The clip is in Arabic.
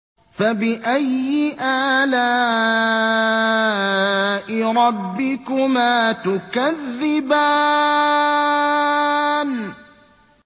فَبِأَيِّ آلَاءِ رَبِّكُمَا تُكَذِّبَانِ